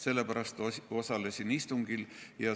Sellepärast osalesin istungil.